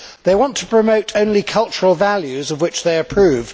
They want to promote only cultural values of which they approve